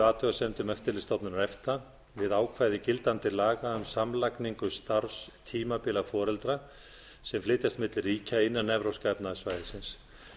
athugasemdum eftirlitsstofnunar efta við ákvæði gildandi laga um samlagningu starfstímabila foreldra sem flytjast milli ríkja innan evrópska efnahagssvæðisins